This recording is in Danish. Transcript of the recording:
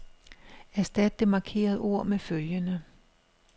Erstat det markerede ord med følgende.